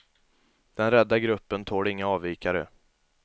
Den rädda gruppen tål inga avvikare.